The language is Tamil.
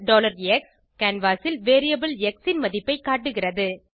பிரின்ட் x கேன்வாஸ் ல் வேரியபிள் எக்ஸ் ன் மதிப்பை காட்டுகிறது